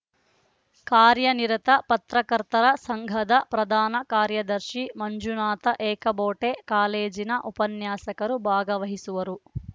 ಕಾರ್ಯನಿರತ ಪತ್ರಕರ್ತರ ಸಂಘದ ಪ್ರಧಾನ ಕಾರ್ಯದರ್ಶಿ ಮಂಜುನಾಥ ಏಕಬೋಟೆ ಕಾಲೇಜಿನ ಉಪನ್ಯಾಸಕರು ಭಾಗವಹಿಸುವರು